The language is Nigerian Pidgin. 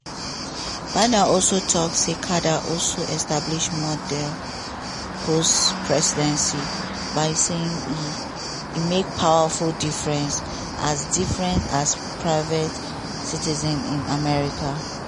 biden also tok say carter "also establish model post-presidency by say e make powerful difference as difference as private citizen in america".